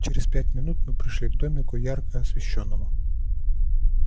через пять минут мы пришли к домику ярко освещённому